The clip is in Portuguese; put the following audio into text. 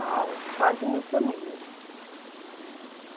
Ah, quase mil famílias.